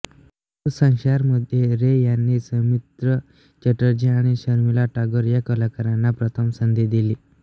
ओपुर शोंशारमध्ये रे यांनी सौमित्र चॅटर्जी आणि शर्मिला टागोर या कलाकारांना प्रथम संधी दिली